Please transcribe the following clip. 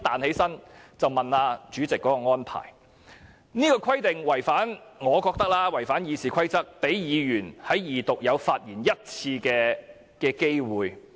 我覺得這個規定違反《議事規則》，讓議員在二讀有1次發言機會的規定。